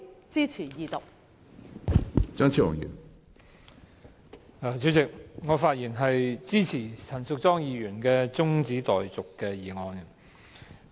主席，我發言支持陳淑莊議員的中止待續議案。